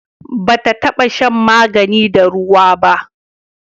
ba ta taba shan magani da ruwa ba